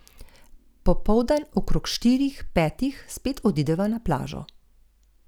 Popoldan, okrog štirih, petih, spet odideva na plažo.